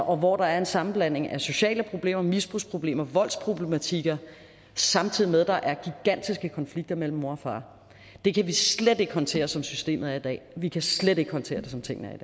og hvor der er en sammenblanding af sociale problemer misbrugsproblemer og voldsproblematikker samtidig med at der er gigantiske konflikter mellem moren og faren det kan vi slet ikke håndtere som systemet er i dag vi kan slet ikke håndtere det som tingene er